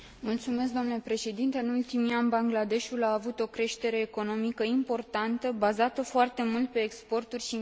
În ultimii ani, Bangladeshul a avut o creștere economică importantă, bazată foarte mult pe exporturi și investiții străine.